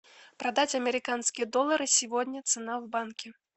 продать американские доллары сегодня цена в банке